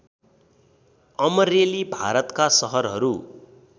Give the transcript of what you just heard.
अमरेली भारतका सहरहरू